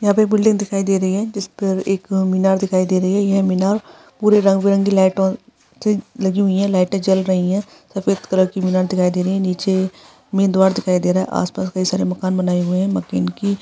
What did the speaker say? यहाँ पे एक बिल्डिंग दिखाई दे रही है जिस पर एक मीनार दिखाई दे रही है येह मीनार पूरे रंग - बिरंगी लाइटों लगी हुई है लाइटें जल रही है सफ़ेद कलर की मीनार दिखाई दे रही है नीचे मेन द्वार दिखाई दे रहा है आसपास बहोत सारे मकान बनाए हुए है मकेन की --